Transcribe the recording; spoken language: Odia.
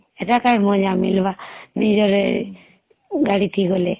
ହେଟା କାଏଁ ମଜା ମିଳବା ନିଜର ଗାଡିଥି ଗଲେ